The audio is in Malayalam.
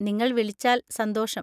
നിങ്ങള്‍ വിളിച്ചാല്‍ സന്തോഷം.